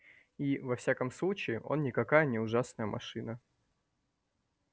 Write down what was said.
и во всяком случае он никакая не ужасная машина